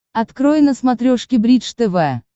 открой на смотрешке бридж тв